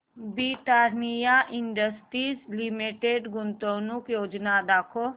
Britannia industries limited गुंतवणूक योजना दाखव